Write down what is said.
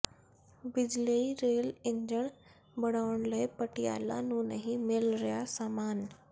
ਬਿਜਲਈ rail engine ਬਣਾਉਣ ਲਈ ਪਟਿਆਲਾ ਨੂੰ ਨਹੀਂ ਮਿਲ ਰਿਹਾ ਸਾਮਾਨ